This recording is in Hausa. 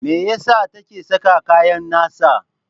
Me ya sa take saka kayan nasa?